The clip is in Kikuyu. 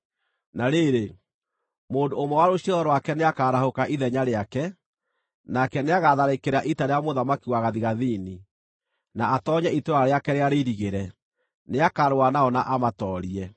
“Na rĩrĩ, mũndũ ũmwe wa rũciaro rwake nĩakarahũka ithenya rĩake. Nake nĩagatharĩkĩra ita rĩa mũthamaki wa gathigathini, na atoonye itũũra rĩake rĩrĩa rĩirigĩre; nĩakarũa nao na amatoorie.